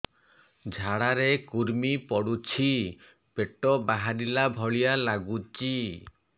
ଝାଡା ରେ କୁର୍ମି ପଡୁଛି ପେଟ ବାହାରିଲା ଭଳିଆ ଲାଗୁଚି